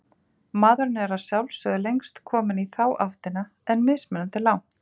Maðurinn er að sjálfsögðu lengst kominn í þá áttina, en mismunandi langt.